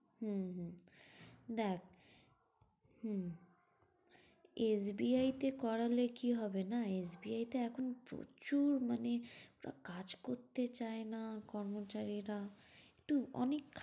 হম হম দেখ, হম SBI তে করালে কি হবে না SBI তে এখন প্রচুর মানে কাজ করতে চায় না কর্মচারীরা, একটু অনেক